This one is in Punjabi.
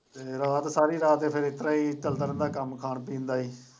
ਮੈਂ ਤੇ ਸਾਰੀ ਰਾਤ ਚੱਲਦਾ ਰਹਿੰਦਾ ਕੰਮ ਖਾਣ ਪੀਣ ਦਾ ਹੀ।